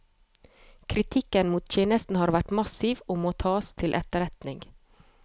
Kritikken mot tjenesten har vært massiv og må tas til etterretning.